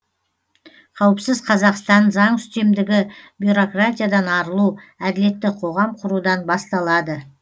қауіпсіз қазақстан заң үстемдігі бюрократиядан арылу әділетті қоғам құрудан басталады